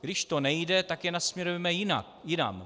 Když to nejde, tak je nasměrujme jinam.